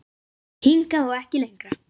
Hingað og ekki lengra